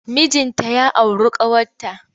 Mijinta ya auru ƙawarta.